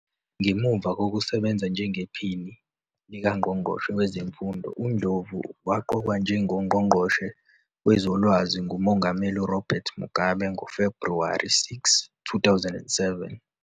Ngemuva kokusebenza njengePhini likaNgqongqoshe Wezemfundo, uNdlovu waqokwa njengoNgqongqoshe Wezolwazi nguMongameli Robert Mugabe ngoFebhuwari 6, 2007.